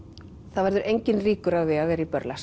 það verður enginn ríkur af því að vera í